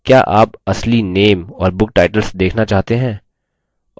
क्या आप असली name और book titles देखना चाहते हैं